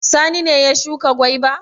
Sani ne ya shuka gwaiba?